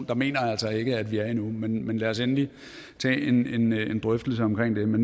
der mener jeg altså ikke vi er endnu men men lad os endelig tage en drøftelse omkring det